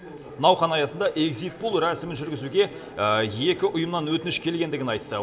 науқан аясында экзитпол рәсімін жүргізуге екі ұйымнан өтініш келгендігін айтты